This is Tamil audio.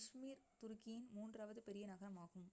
இஜ்மீர் துருக்கியின் மூன்றாவது பெரிய நகரமாகும்